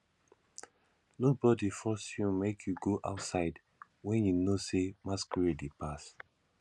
nobody force you make you go outside wen you know say masquerade dey pass